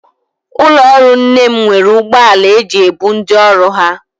Ụlọọrụ nne m nwere ụgbọala e ji ebu ndị ọrụ ha